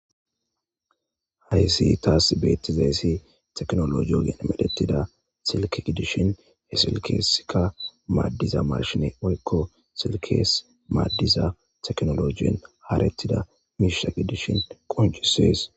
Haysi tasi betizayissi techinologe muruththan medhdhetiza silke giddishen silketizikka madhdhaza mashine woyikko solkesi madhdhiza techinologe hanetizza mishsha giddishshen qonc'ises.